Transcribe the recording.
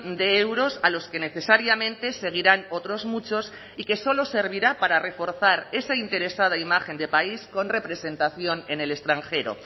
de euros a los que necesariamente seguirán otros muchos y que solo servirá para reforzar esa interesada imagen de país con representación en el extranjero